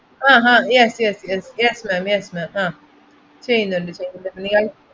ആഹ് ah yes yes yes, yes ma'am yes ma'am ah ചെയ്യുന്നുണ്ട് ചെയ്യുന്നുണ്ട്. നിങ്ങൾ